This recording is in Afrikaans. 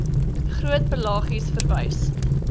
groot pelagies verwys